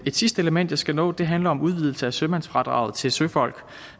et sidste element jeg skal nå handler om udvidelse af sømandsfradraget til søfolk